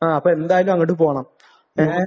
ആഹ്. അപ്പോൾ എന്തായാലും അങ്ങോട് പോകണം. ഏഹ്?